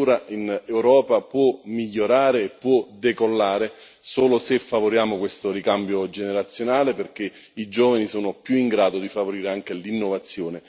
Penso che siamo tutti quanti d'accordo che l'agricoltura in Europa può migliorare e può decollare solo se favoriamo questo ricambio generazionale, perché i giovani sono più in grado di favorire anche l'innovazione